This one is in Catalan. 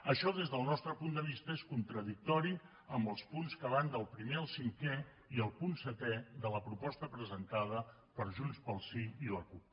això des del nostre punt de vista és contradictori amb els punts que van del primer al cinquè i el punt setè de la proposta presentada per junts pel sí i la cup